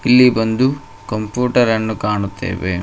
ಇಲ್ಲಿ ಬಂದು ಕಂಪ್ಯೂಟರ್ ಅನ್ನು ಕಾಣುತ್ತೇವೆ.